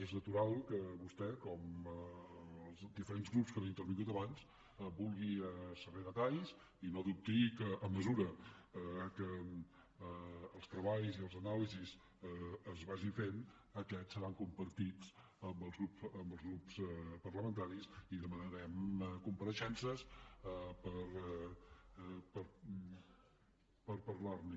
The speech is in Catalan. és natural que vostè com els diferents grups que han intervingut abans en vulgui saber detalls i no dubti que a mesura que els treballs i les anàlisis es vagin fent aquests seran compartits amb els grups parlamentaris i que demanarem compareixences per parlar ne